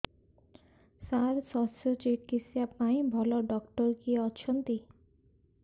ସାର ଶଲ୍ୟଚିକିତ୍ସା ପାଇଁ ଭଲ ଡକ୍ଟର କିଏ ଅଛନ୍ତି